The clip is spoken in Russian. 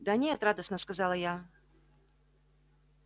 да нет радостно сказала я